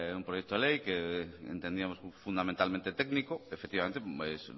un proyecto de ley que entendíamos fundamentalmente técnico efectivamente